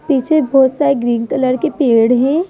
पीछे बहुत सारे ग्रीन कलर के पेड़ हैं।